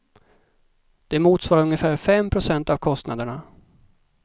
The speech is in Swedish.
Det motsvarar ungefär fem procent av kostnaderna.